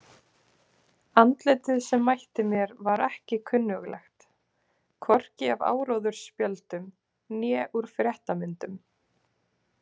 Andlitið sem mætti mér var ekki kunnuglegt, hvorki af áróðursspjöldum né úr fréttamyndum.